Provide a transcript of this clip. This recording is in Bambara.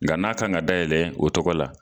Nka n'a kan ka dayɛlɛ o tɔgɔ la.